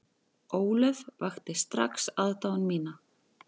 Ólöf vakti strax aðdáun mína.